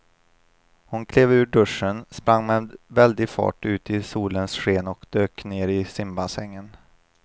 Hon klev ur duschen, sprang med väldig fart ut i solens sken och dök ner i simbassängen.